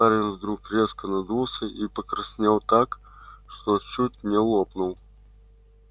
парень вдруг резко надулся и покраснел так что чуть не лопнул